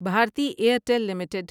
Bharati Airtel limited